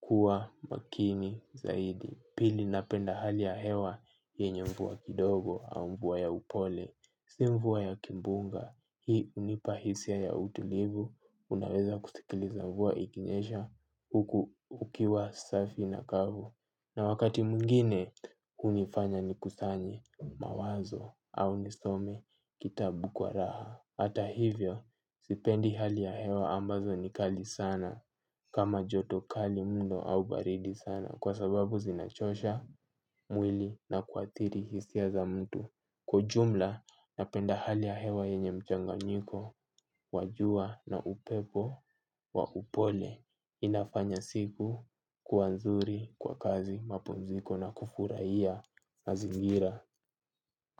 kuwa makini zaidi. Pili napenda hali ya hewa yenye mvua kidogo au mvua ya upole. Si mvua ya kimbunga, hii hunipa hisia ya utulivu. Unaweza kusikiliza mvua ikinyesha huku ukiwa safi na kavu. Na wakati mwingine hunifanya nikusanye mawazo au nisome kitabu kwa raha. Hata hivyo, sipendi hali ya hewa ambazo ni kali sana kama joto kali mundo au baridi sana kwa sababu zinachosha mwili na kuadhiri hisia za mtu kwa ujumla napenda hali ya hewa yenye mchanganyiko. Wajua na upepo wa upole. Inafanya siku kuwa nzuri kwa kazi mapumziko na kufurahia mazingira.